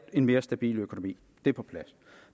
en mere stabil økonomi det er på plads